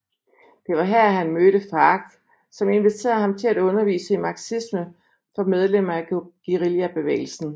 Det var her han mødte FARC som inviterede ham til at undervise i marxisme for medlemmer af guerillabevægelsen